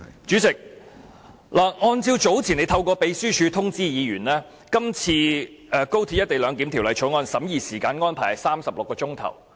主席，早前你曾透過秘書處通知議員，今次《廣深港高鐵條例草案》的審議時間安排是36小時。